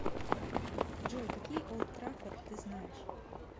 джой какие олд траффорд ты знаешь